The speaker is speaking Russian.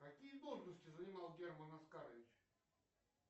какие должности занимал герман оскарович